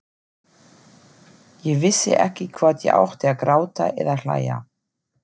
Ég vissi ekki hvort ég átti að gráta eða hlæja.